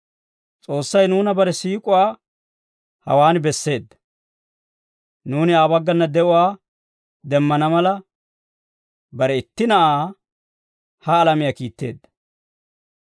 S'oossay nuuna bare siik'uwaa hawaan besseedda; nuuni Aa baggana de'uwaa demmana mala, bare itti Na'aa ha alamiyaa kiitteedda.